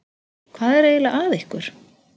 Hvað er eiginlega að ykkur?